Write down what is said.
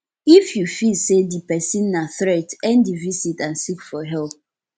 if you feel sey di person na threat end di visit and seek for help